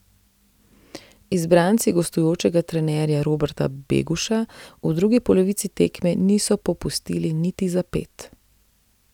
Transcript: Izbranci gostujočega trenerja Roberta Beguša v drugi polovici tekme niso popustili niti za ped.